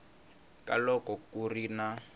ka loko ku ri na